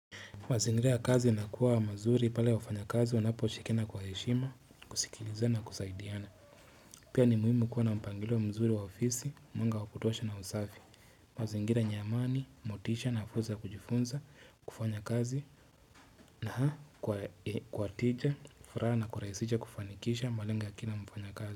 Mazingira ya kazi inakuwa mazuri pale waffanya kazi wanaposhikina kwa heshima, kusikiliza na kusaidiana. Pia ni muhimu kuwa na mpangilo wa mzuri wa ofisi, wanga wa kutosha na usafi. Mazingira yenye amani, motisha na fursa ya kujifunza, kufanya kazi na kwa wateja, furaha na kurahisisha kufanikisha malenga ya kina mfanya kazi.